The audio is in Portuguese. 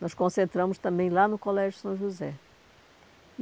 Nós concentramos também lá no Colégio São José.